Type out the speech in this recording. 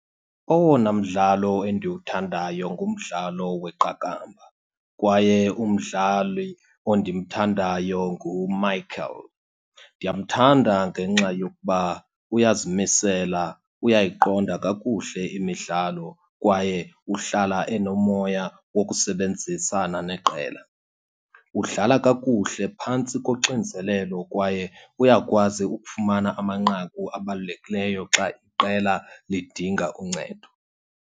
Owona mdlalo endiwuthandayo ngumdlalo weqakamba kwaye umdlali ondimthandayo nguMichael. Ndiyamthanda ngenxa yokuba uyazimisela, uyayiqonda kakuhle imidlalo kwaye uhlala enomoya wokusebenzisana neqela. Udlala kakuhle phantsi koxinzelelo kwaye uyakwazi ukufumana amanqaku abalulekileyo xa iqela lidinga uncedo.